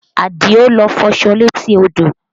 Adio lọ fọṣọ létí odò